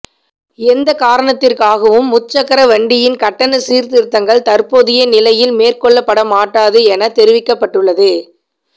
எந்த காரணத்திற்காகவும் முச்சக்கர வண்டியின் கட்டண சீர்திருத்தங்கள் தற்போதைய நிலையில் மேற்கொள்ளப்படமாட்டாது என தெரிவிக்கப்பட்டுள்ளது